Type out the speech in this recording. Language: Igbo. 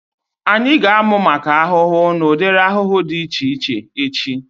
Anyị ga-amu maka ahụhụ na udiri ahụhụ dị iche iche echi